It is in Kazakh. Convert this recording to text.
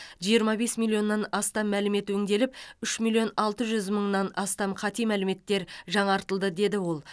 жиырма бес миллионнан астам мәлімет өңделіп үш миллион алты жүз мыңнан астам қате мәліметтер жаңартылды деді ол